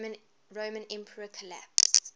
roman empire collapsed